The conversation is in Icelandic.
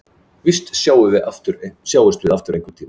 Víst sjáumst við aftur einhverntíma.